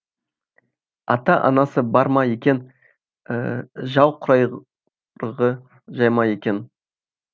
ата анасы бар ма екен жал құйрығы сай ма екен